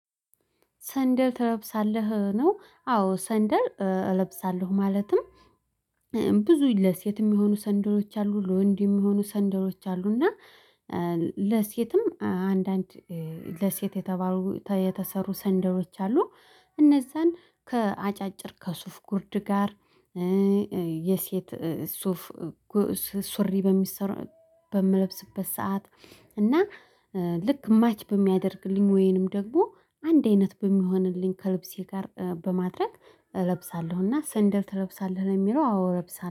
ሰንደል ትለብሳለህ ነው? አዎ ሰንደል እለብሳለሁ። ማለትም ብዙ ለሴት የሚሆኑ ሰንደሎች አሉ ለወንድ የሚሆኑ ሰንደሎች አሉ። እና ለሴትም አንዳንድ ለሴት የተባሉ የተሰሩ ሰንደሎች አሉ። እነዛን ከአጫጭር ከሱፍ ጉርድ ጋር። የሴት ሱፍ ሱሪ በሚሰራ በምለብስበት ሰዓት እና ልክ ማች በሚያደርግልኝ ወይንም ደግሞ አንድ አይነት በሚሆንልኝ ከልብሴ ጋር በማድረግ እለብሳለሁና ሰንደል ትለብሳለህ ለሚለው አዎ እለብሳለሁ